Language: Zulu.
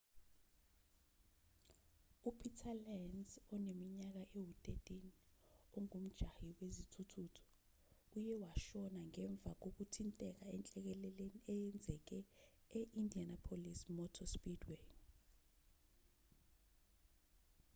upeter lenz oneminyaka ewu-13 ongumjahi wezithuthuthu uye washona ngemva kokuthinteka enhlekeleleni eyenzeke e-indianapolis motor speedway